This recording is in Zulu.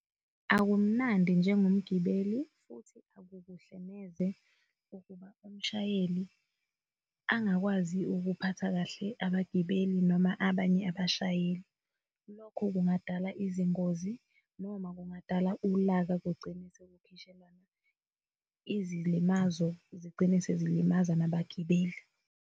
Akumnandi njengomgibelo futhi akukuhle neze ukuba umshayeli angakwazi ukuphatha kahle abagibeli noma abanye abashayeli. Lokho kungadala izingozi, noma kungadala ulaka kugcine sekukhishelwana izilimazo zigcine sezilimaza nabagibeli.